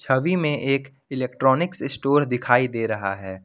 छवि में एक electronics store दिखाई दे रहा है।